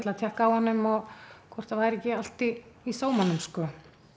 að tékka á honum hvort það væri ekki allt í í sómanum sko